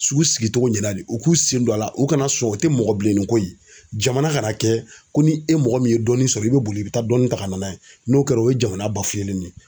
Sugu sigi cogo ɲɛna de u k'u sen don a la u kana sɔn u tɛ mɔgɔ bilenninko ye jamana kana kɛ ko ni e mɔgɔ min ye dɔɔnin sɔrɔ i bɛ boli i bɛ taa dɔɔnin ta ka na n'a ye n'o kɛra o ye jamana de ye